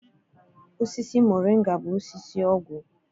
Osisi moringa bụ osisi ọgwụ.